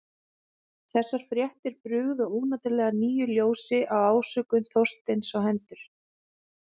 Þessar fréttir brugðu óneitanlega nýju ljósi á ásökun Þorsteins á hendur